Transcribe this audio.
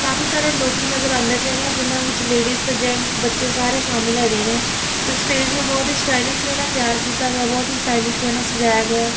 ਕਾਫੀ ਸਾਰੇ ਲੋੱਕੀ ਨਜ਼ਰ ਆਂਦੇ ਪਏ ਨੇ ਜਿਹਨਾਂ ਵਿੱਚ ਲੇਡੀਜ਼ ਤੇ ਜੈਂਟਸ ਬੱਚੇ ਸਾਰੇ ਸ਼ਾਮਿਲ ਹੈਗੇ ਨੇ ਤੇ ਸਟੇਜ ਨੂੰ ਬਹੁਤ ਹੀ ਸਟਾਇਲਿਸ਼ ਵੇ ਨਾਲ ਤਿਆਰ ਕੀਤਾ ਗਿਆ ਬਹੁਤ ਹੀ ਸਟਾਇਲਿਸ਼ ਵੇ ਨਾਲ ਸਜਾਯਾ ਗਿਆ ਹੈ।